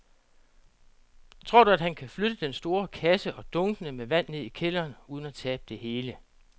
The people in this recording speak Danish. Tror du, at han kan flytte den store kasse og dunkene med vand ned i kælderen uden at tabe det hele?